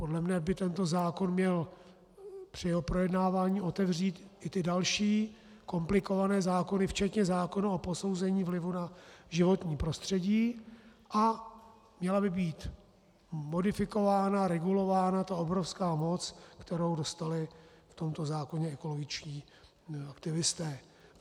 Podle mě by tento zákon měl při jeho projednávání otevřít i ty další komplikované zákony včetně zákona o posouzení vlivu na životní prostředí a měla by být modifikována, regulována ta obrovská moc, kterou dostali v tomto zákoně ekologičtí aktivisté.